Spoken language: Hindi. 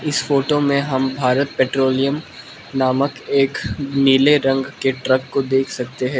इस फोटो में हम भारत पेट्रोलियम नामक एक नीले रंग के ट्रक को देख सकते हैं।